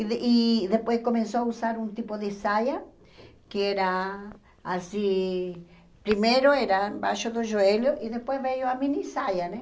E de e depois começou a usar um tipo de saia, que era assim... Primeiro era embaixo do joelho e depois veio a minissaia, né?